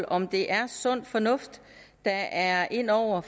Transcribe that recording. om det er sund fornuft der er inde over